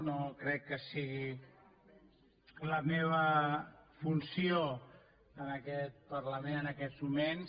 no crec que sigui la meva funció en aquest parlament en aquests moments